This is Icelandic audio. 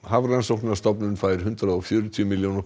Hafrannsóknastofnun fær hundrað og fjörutíu milljóna